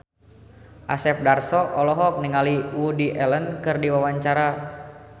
Asep Darso olohok ningali Woody Allen keur diwawancara